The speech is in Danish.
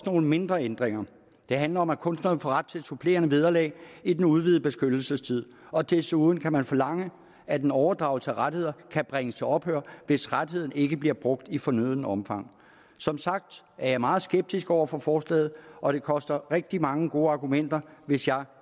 nogle mindre ændringer det handler om at kunsterne får ret til supplerende vederlag i den udvidede beskyttelsestid og desuden kan man forlange at en overdragelse af rettigheder kan bringes til ophør hvis rettigheden ikke bliver brugt i fornødent omfang som sagt er jeg meget skeptisk over for forslaget og det koster rigtig mange gode argumenter hvis jeg